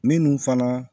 Minnu fana